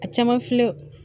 A caman filɛ